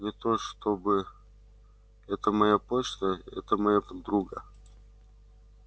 не то чтобы это моя почта это моего друга